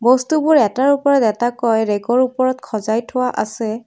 বস্তুবোৰ এটাৰ ওপৰত এটাকৈ ৰেগৰ ওপৰত সজাই থোৱা আছে।